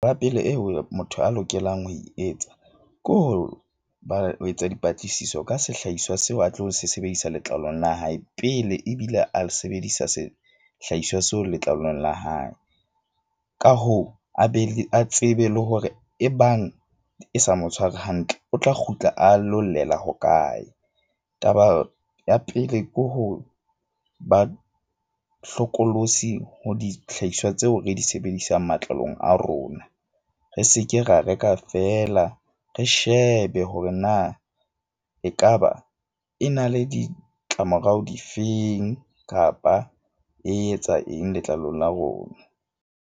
Ya pele eo motho a lokelang ho e etsa ke ho ba o etsa dipatlisiso ka sehlaiswa seo, a tlo sebedisa letlalong la hae pele ebile a sebedisa sehlahiswa seo letlalong la hae. Ka hoo, a be le a tsebe le hore e bang e sa mo tshware hantle, o tla kgutla a lo llela hokae? Taba ya pele ke ho ba hlokolosi ho dihlahiswa tseo re di sebedisang matlalong a rona. Re seke ra reka feela re shebe hore na ekaba e na le ditlamorao di feng, kapa e etsa eng letlalong la rona.